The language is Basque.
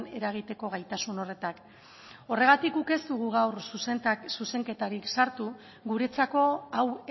eragiteko gaitasun horretan horregatik guk ez dugu gaur zuzenketarik sartu guretzako hau